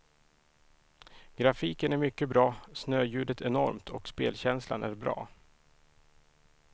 Grafiken är mycket bra, snöljudet enormt och spelkänslan är bra.